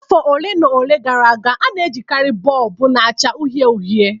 Afọ ole na ole gara aga, a na-ejikarị bọlbụ na-acha uhie uhie